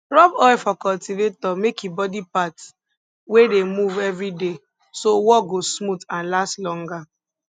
rub oil for cultivator make e body parts wey dey move everyday so work go smooth and last longer